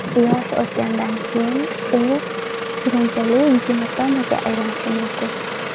Yosh o‘tgandan keyin u surunkali gematomaga aylanishi mumkin.